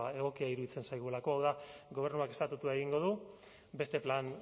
egokia iruditzen zaigulako hau da gobernuak estatutua egingo du beste plan